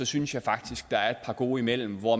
synes jeg faktisk der er et par gode imellem hvor